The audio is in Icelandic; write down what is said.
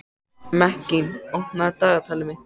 Mekkín, opnaðu dagatalið mitt.